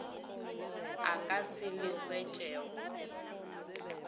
a ka se le hwetšego